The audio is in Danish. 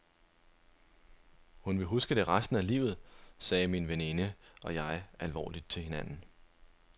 Hun vil huske det resten af livet, sagde min veninde og jeg alvorligt til hinanden.